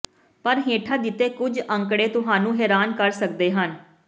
ਪਰ ਹੇਠਾਂ ਦਿੱਤੇ ਕੁਝ ਅੰਕੜੇ ਤੁਹਾਨੂੰ ਹੈਰਾਨ ਕਰ ਸਕਦੇ ਹਨ